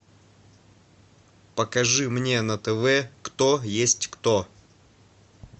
покажи мне на тв кто есть кто